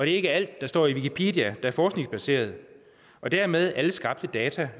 ikke er alt der står i wikipedia er forskningsbaseret og dermed fastholder at alle skabte data